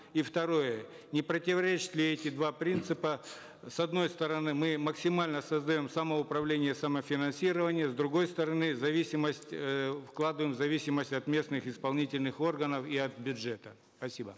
и второе не противоречат ли эти два принципа с одной стороны мы максимально создаем самоуправление самофинансирование с другой стороны зависимость э вкладываем зависимость от местных исполнительных органов и от бюджета спасибо